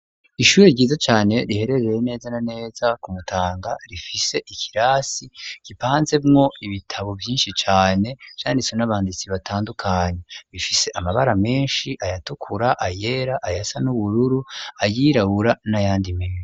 Ishuri ryiza cane riherereye neza naneza kumutanga rifise ikirasi gipanze mwo ibitabo vyinshi cane vyanditswe n'abanditsi batandukanye bifise amabara menshi ayatukura ,ayera ayasa ,n'ubururu ayirabura n'ayandi menshi.